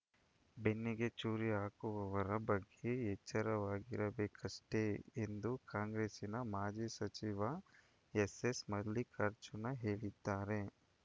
ಬೆನ್ನಿಗೆ ಚೂರಿ ಹಾಕುವವರ ಬಗ್ಗೆ ಎಚ್ಚರವಾಗಿರಬೇಕಷ್ಟೇ ಎಂದು ಕಾಂಗ್ರೆಸ್ಸಿನ ಮಾಜಿ ಸಚಿವ ಎಸ್‌ಎಸ್‌ ಮಲ್ಲಿಕಾರ್ಜುನ ಹೇಳಿದ್ದಾರೆ